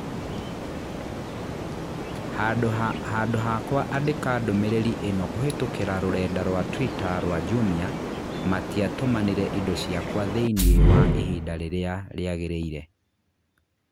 handũ hakwa andĩka ndũmĩrĩri ĩno kũhītũkīra rũrenda rũa tũita rũa Jumia matiatũmanire indo ciakwa thīiniī wa ihinda rīrīa rīagīrīire